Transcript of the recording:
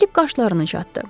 Filip qaşlarını çatdı.